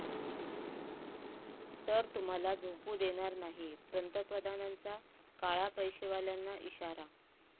...तर तुम्हाला झोपू देणार नाही, पंतप्रधानांचा काळा पैशावाल्यांना इशारा